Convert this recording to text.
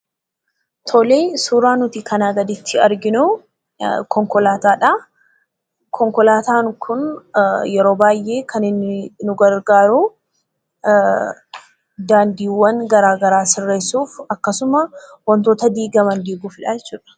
Suuraan nuti kanaa gaditti arginu konkolaataadha. Konkolaataan kun yeroo baay'ee kan inni nu gargaaru daandiiwwan garaagaraa sirreessuuf akkasumas wantoota diigaman diiguudhaaf kan nu gargaarru jechuudha.